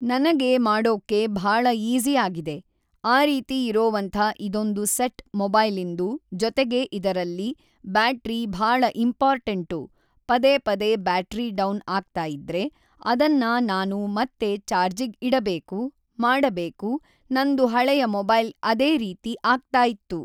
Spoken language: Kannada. ನನಗೆ ಮಾಡೋಕ್ಕೆ ಭಾಳ ಈಝಿ ಆಗಿದೆ ಆ ರೀತಿ ಇರೋವಂಥ ಇದೊಂದು ಸೆಟ್ ಮೊಬೈಲಿಂದು ಜೊತೆಗೆ ಇದರಲ್ಲಿ ಬ್ಯಾಟ್ರಿ ಭಾಳ ಇಂಪೋರ್ಟೆಂಟು ಪದೇ ಪದೇ ಬ್ಯಾಟ್ರಿ ಡೌನ್ ಆಗ್ತಾಯಿದ್ರೆ ಅದನ್ನ ನಾನು ಮತ್ತೆ ಚಾರ್ಜಿಗ್ ಇಡಬೇಕು ಮಾಡಬೇಕು ನಂದು ಹಳೆಯ ಮೊಬೈಲ್ ಅದೇ ರೀತಿ ಆಗ್ತಾಯಿತ್ತು